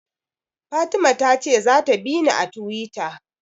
Fatima ta ce za ta bini a Tiwita